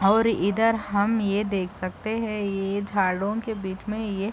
और इधर हम ये देख सकते है ये झाड़ों के बिच में ये --